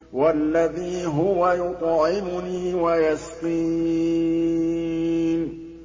وَالَّذِي هُوَ يُطْعِمُنِي وَيَسْقِينِ